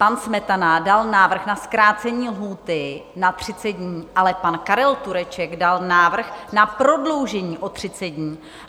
Pan Smetana dal návrh na zkrácení lhůty na 30 dní, ale pan Karel Tureček dal návrh na prodloužení o 30 dní.